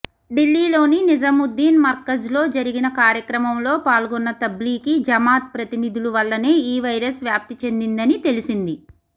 ఢిల్లీలోని నిజాముద్దీన్ మర్కజ్లో జరిగిన కార్యక్రమంలో పాల్గొన్న తబ్లీగీ జమాత్ ప్రతినిధుల వల్లనే ఈ వైరస్ వ్యాప్తి చెందిందని తెలిసింది